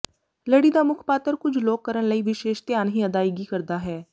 ਲੜੀ ਦਾ ਮੁੱਖ ਪਾਤਰ ਕੁਝ ਲੋਕ ਕਰਨ ਲਈ ਵਿਸ਼ੇਸ਼ ਧਿਆਨ ਹੀ ਅਦਾਇਗੀ ਕਰਦਾ ਹੈ